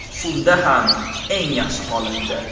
Shunda ham, eng yaxshi holatda.